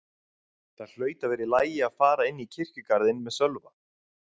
Það hlaut að vera í lagi að fara inn í kirkjugarðinn með Sölva.